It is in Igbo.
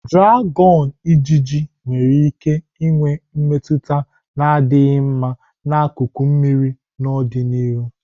Draghon-ijiji nwere ike inwe mmetụta na-adịghị mma n'akụkụ mmiri n'ọdịnihu.